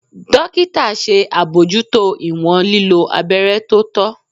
Dokita ṣe abojuto iwọn lilo abẹrẹ to tọ.